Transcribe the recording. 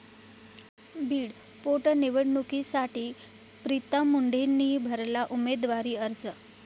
बीड पोटनिवडणुकीसाठी प्रीतम मुंडेंनी भरला उमेदवारी अर्ज